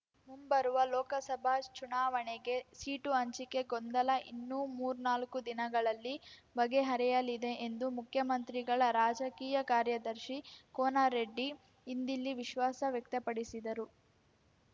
ಮುಂಬರುವ ಲೋಕಸಭಾ ಚುನಾವಣೆಗೆ ಸೀಟು ಹಂಚಿಕೆ ಗೊಂದಲ ಇನ್ನು ಮೂಱ್ನಾಲ್ಕು ದಿನಗಳಲ್ಲಿ ಬಗೆಹರಿಯಲಿದೆ ಎಂದು ಮುಖ್ಯಮಂತ್ರಿಗಳ ರಾಜಕೀಯ ಕಾರ್ಯದರ್ಶಿ ಕೋನರೆಡ್ಡಿ ಇಂದಿಲ್ಲಿ ವಿಶ್ವಾಸ ವ್ಯಕ್ತಪಡಿಸಿದರು